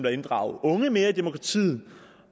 at inddrage unge mere i demokratiet